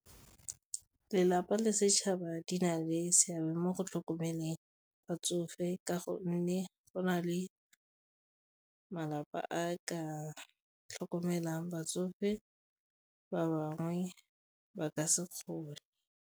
Lelapa le setšhaba di na le seabe mo go tlhokomeleng batsofe ka gonne go na le malapa a ka tlhokomelang batsofe, ba bangwe ba ka se kgone.